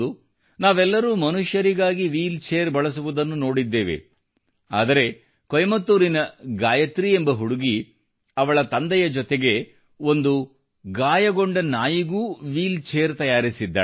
ನಾವೆಲ್ಲರೂ ಮನುಷ್ಯರಿಗಾಗಿ ವೀಲ್ಚೇರ್ ಬಳಸುವುದನ್ನು ನೋಡಿದ್ದೇವೆ ಆದರೆ ಕೊಯಂಬತ್ತೂರಿನ ಗಾಯತ್ರಿ ಎಂಬ ಹುಡುಗಿ ಅವಳ ತಂದೆಯ ಜೊತೆಗೆ ಒಂದು ಗಾಯಗೊಂಡ ನಾಯಿಗೂ ವೀಲ್ಚೇರ್ ತಯಾರಿಸಿದ್ದಾಳೆ